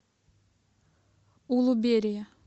улуберия